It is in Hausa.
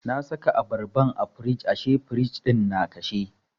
Na saka abarban a firij ashe firij ɗin na kashe.